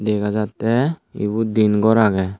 dega jatte ibot diyen gor agey.